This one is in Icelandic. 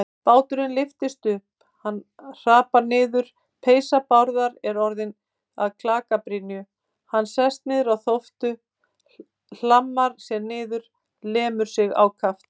Báturinn lyftist upp, hann hrapar niður, peysa Bárðar er orðin að klakabrynju, hann sest niður á þóftu, hlammar sér niður, lemur sig ákaft.